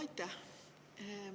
Aitäh!